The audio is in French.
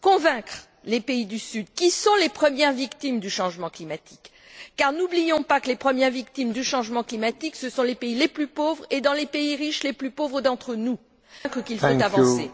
convaincre les pays du Sud qui sont les premières victimes du changement climatique, car n'oublions pas que les premières victimes du changement climatique sont les pays les plus pauvres et dans les pays riches les plus pauvres d'entre nous qu'il faut avancer?